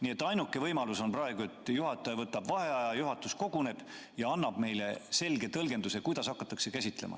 Nii et ainuke võimalus on praegu, et juhataja võtab vaheaja, juhatus koguneb ja annab meile selge tõlgenduse, kuidas hakatakse käsitlema.